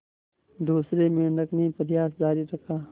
दूसरे मेंढक ने प्रयास जारी रखा